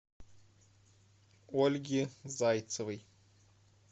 ольги зайцевой